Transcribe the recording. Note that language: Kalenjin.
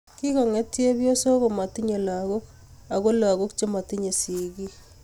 kigonget chepyosok komatinyei lagook ago lagoob chematinyei sigiik